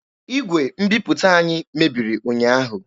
Igwe mbiputa anyị mebiri ụnyaahụ.